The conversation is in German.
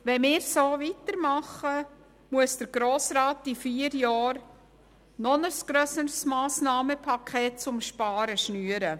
Wenn wir so weitermachen, muss der Grosse Rat in vier Jahren ein noch grösseres Paket an Sparmassnahmen schnüren.